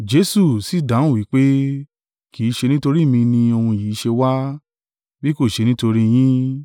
Jesu sì dáhùn wí pé, “Kì í ṣe nítorí mi ni ohùn yìí ṣe wá, bí kò ṣe nítorí yín.